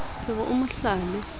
ke re o mo hlale